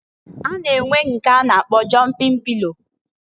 A na-enwe nke a na-akpọ jọmpin pilo.